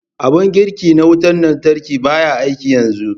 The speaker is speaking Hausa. Abun girki na wutar lantarki ɓaya aiki yanzu.